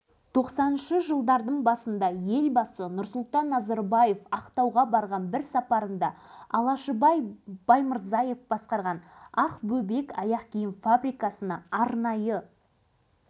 жаны жайсаң мінезі қарапайым осы кәсіпкер азаматтың өмір жолымен атқарған жұмысымен келешекте көздеген мақсаттарымен оқырманды таныстыра кеткенді жөн